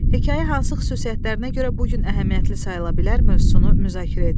Hekayə hansı xüsusiyyətlərinə görə bu gün əhəmiyyətli sayıla bilər mövzusunu müzakirə edin.